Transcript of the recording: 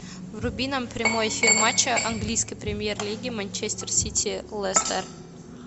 вруби нам прямой эфир матча английской премьер лиги манчестер сити лестер